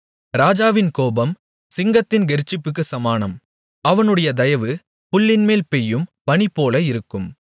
ராஜாவின் கோபம் சிங்கத்தின் கெர்ச்சிப்புக்குச் சமானம் அவனுடைய தயவு புல்லின்மேல் பெய்யும் பனிபோல இருக்கும்